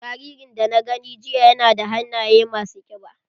Jaririn da na gani jiya na da hannaye ma su ƙiba.